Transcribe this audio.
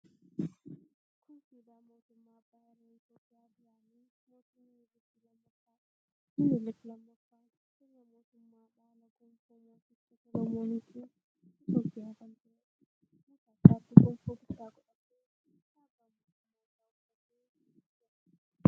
Kun siidaa mootummaa abbaa irree Itiyoophiyaa duraanii mootii Minilikii 2ffaadha. Minilik 2ffaan sirna mootummaa dhaala gonfoo mooticha Solomooniitiin Itiyoophiyaa kan tureedha. Mataa isaatti gonfoo guddaa godhatee, kaabbaa mootummaa isaa uffatee jita.